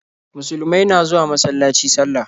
Musulumai na zuwa masalaci sallah.